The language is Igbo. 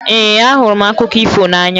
Ee, ahụrụ m akụkọ ifo n'anya